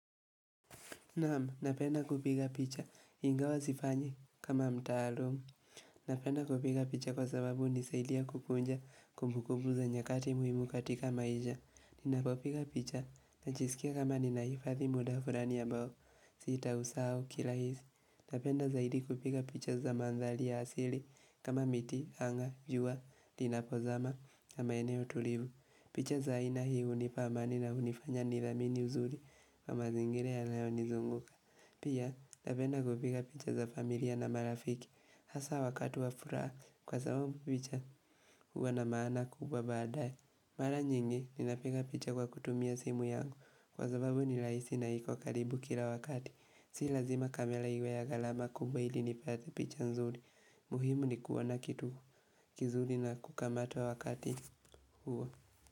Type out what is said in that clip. Naam, napenda kupiga picha, ingawa sifanyi kama mtaalamu. Napenda kupiga picha kwa sababu unisaidia kukuja kumbukubu za nyakati muhimu katika maisha. Ninapo piga picha, najisikia kama nina hifadhi muda fulani ambao, sitausahau kirahisi. Napenda zaidi kupiga picha za mandhari ya asili, kama miti, anga, jua, linapo zama, na maeneo tulivu. Picha za aina hii unipa amani na unifanya niamini uzuri na mazingira yanayo nizunguka Pia napenda kupika picha za familia na marafiki hasa wakati wa furaha kwa sababu picha huwa na maana kubwa baadae mara nyingi, nina piga picha kwa kutumia simu yangu kwa sababu ni rahisi na ikokaribu kila wakati Si lazima kamera iwe ya garama kubwa hili nipate picha nzuri muhimu ni kuona kitu kizuri na kukamata wakati huo.